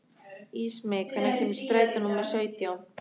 Ísmey, hvenær kemur strætó númer sautján?